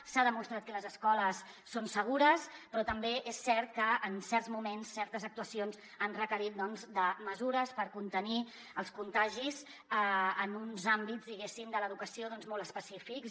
s’ha demostrat que les escoles són segures però també és cert que en certs moments certes actuacions han requerit mesures per contenir els contagis en uns àmbits diguéssim de l’educació molt específics